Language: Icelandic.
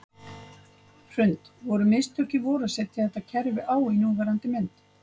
Hrund: Voru mistök í vor að setja þetta kerfi á í núverandi mynd?